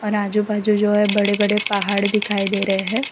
और आजू बाजू जो हैं बड़े बड़े पहाड़ दिखाई दे रहे हैं।